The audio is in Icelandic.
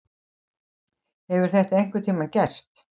Hefur þetta einhvern tíma gerst?